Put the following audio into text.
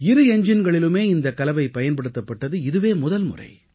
இரு எஞ்ஜின்களிலுமே இந்தக் கலவை பயன்படுத்தப்பட்டது இதுவே முதல்முறை